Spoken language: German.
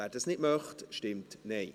wer das nicht möchte, stimmt Nein.